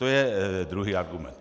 To je druhý argument.